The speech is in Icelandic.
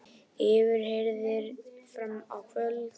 Yfirheyrðir fram á kvöld